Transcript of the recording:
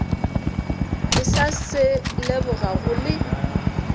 ke sa se lebogago le